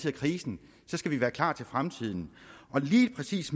af krisen skal vi være klar til fremtiden lige præcis